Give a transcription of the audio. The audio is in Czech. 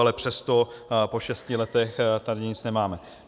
Ale přesto po šesti letech tady nic nemáme.